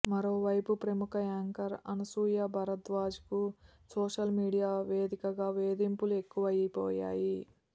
మరోవైపు ప్రముఖ యాంకర్ అనసూయ భరద్వాజ్కు సోషల్ మీడియా వేదికగా వేధింపులు ఎక్కువైపోయాయి